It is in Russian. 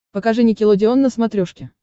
покажи никелодеон на смотрешке